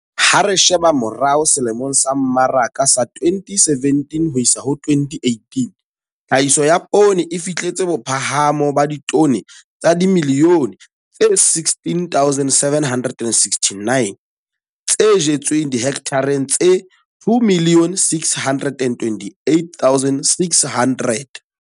Ha re sheba morao selemong sa mmaraka sa 2017 ho isa ho 2018, tlhahiso ya poone e fihletse bophahamo ba ditone tsa dimilione tse 16,769, tse jetsweng dihekthareng tse 2,628,600.